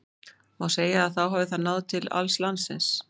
Má segja að þá hafi það náð til alls landsins.